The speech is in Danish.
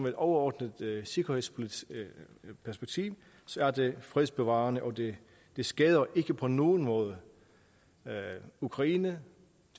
et overordnet sikkerhedspolitisk perspektiv er det fredsbevarende og det det skader ikke på nogen måde ukraine